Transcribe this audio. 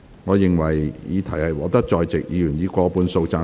我認為議題獲得在席議員以過半數贊成。